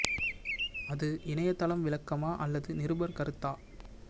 அது இன்னையதளம் விளக்கமா அல்லது நிருபர் கருத்தா